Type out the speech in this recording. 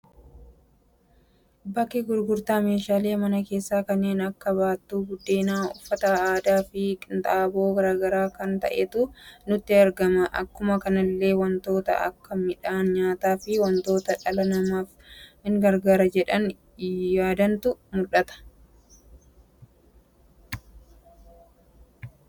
Bakka gurgurtaa meeshaalee mana keessa kanneen akka baattuu biddeena, uffata aadaa, fi qinxaaboo garaagaraa kan ta'eetu nutti argama. Akkuma kanallee wantoota akka miidhan nyaata fi wantoota dhala namaf in gargaara jedhaani yaadantu mudhata.